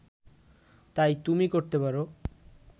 তাই তুমি করতে পার